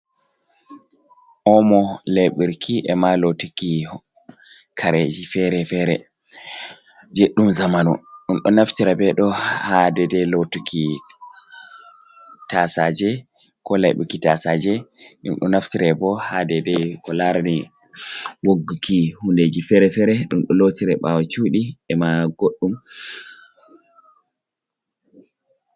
Omo laiɓirki, e ma lootuki kareji fere-fere je ɗum zamanu, ɗum ɗo naftira be ɗo ha dedei lootuki taasaaje, ko laiɓuki taasaaje, ɗum ɗo naftira bo ha dedei ko laarni wogguki hundeji fere-fere, ɗum do lootirta ɓaawo chuuɗi e ma goɗɗum.